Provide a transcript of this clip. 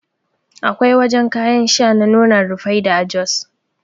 Akwai wajan kayan sha na nonon Rufaidah a jos